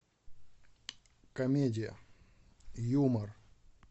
комедия юмор